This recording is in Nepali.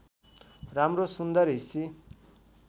राम्रो सुन्दर हिसी